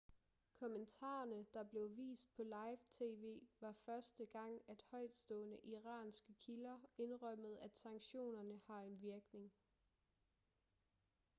kommentarerne der blev vist på live tv var første gang at højtstående iranske kilder indrømmede at sanktionerne har en virkning